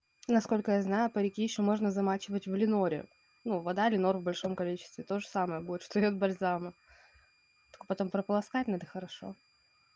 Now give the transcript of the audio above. насколько я знаю парики ещё можно замачивать в леноре ну вода ленор в большом количестве тоже самое будет четырёх бальзамов потом прополоскать надо хорошо